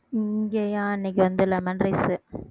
இங்கயா இன்னைக்கு வந்து lemon rice